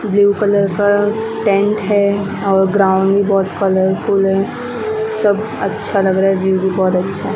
blue colour का tent है और ग्राउंड बहुत कलरफुल हैं सब अच्छा लग रहा है व्यू भी बहोत अच्छा--